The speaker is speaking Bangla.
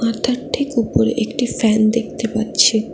মাথার ঠিক উপরে একটি ফ্যান দেখতে পারছি।